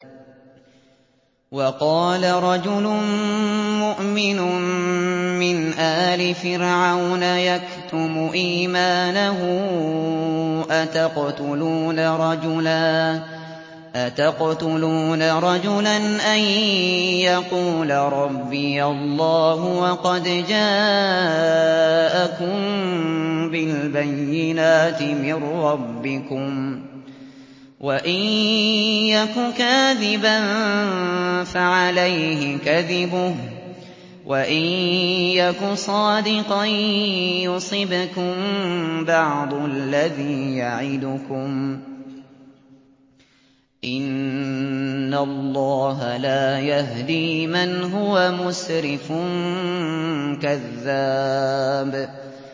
وَقَالَ رَجُلٌ مُّؤْمِنٌ مِّنْ آلِ فِرْعَوْنَ يَكْتُمُ إِيمَانَهُ أَتَقْتُلُونَ رَجُلًا أَن يَقُولَ رَبِّيَ اللَّهُ وَقَدْ جَاءَكُم بِالْبَيِّنَاتِ مِن رَّبِّكُمْ ۖ وَإِن يَكُ كَاذِبًا فَعَلَيْهِ كَذِبُهُ ۖ وَإِن يَكُ صَادِقًا يُصِبْكُم بَعْضُ الَّذِي يَعِدُكُمْ ۖ إِنَّ اللَّهَ لَا يَهْدِي مَنْ هُوَ مُسْرِفٌ كَذَّابٌ